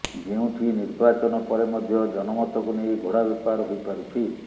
ଯେଉଁଠି ନିର୍ବାଚନ ପରେ ମଧ୍ୟ ଜନମତକୁ ନେଇ ଘୋଡ଼ା ବେପାର ହୋଇପାରୁଛି